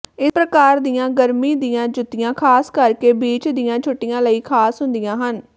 ਇਸ ਪ੍ਰਕਾਰ ਦੀਆਂ ਗਰਮੀ ਦੀਆਂ ਜੁੱਤੀਆਂ ਖਾਸ ਕਰਕੇ ਬੀਚ ਦੀਆਂ ਛੁੱਟੀਆਂ ਲਈ ਖਾਸ ਹੁੰਦੀਆਂ ਹਨ